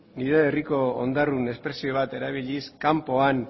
nire herriko ondarrun espresio bat erabiliz kanpoan